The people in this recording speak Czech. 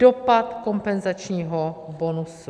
Dopad kompenzačního bonusu.